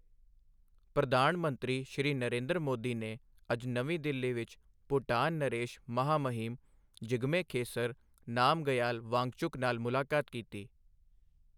ਪ੍ਰਧਾਨ ਮੰਤਰੀ, ਸ਼੍ਰੀ ਨਰੇਂਦਰ ਮੋਦੀ ਨੇ ਅੱਜ ਨਵੀਂ ਦਿੱਲੀ ਵਿੱਚ ਭੂਟਾਨ ਨਰੇਸ਼, ਮਹਾਮਹਿਮ ਜਿਗਮੇ ਖੇਸਰ ਨਾਮਗਯਾਲ ਵਾਂਗਚੁਕ ਨਾਲ ਮੁਲਾਕਾਤ ਕੀਤੀ ਹੈ।